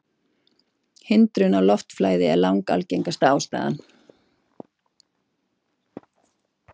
Hindrun á loftflæði er langalgengasta ástæðan.